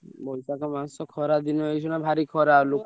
ଉ ବୈଶାଖ ମାସ ଖରା ଦିନ ଏଇଖିଣା ଭାରି ଖରା ଲୋକ ।